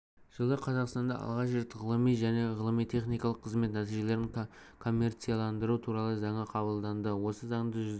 жылы қазақстанда алғаш рет ғылыми және ғылыми-техникалық қызмет нәтижелерін коммерцияландыру туралы заңы қабылданды осы заңды жүзеге